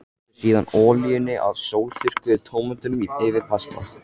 Helltu síðan olíunni af sólþurrkuðu tómötunum yfir pastað.